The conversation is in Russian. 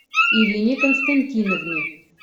ирине константиновне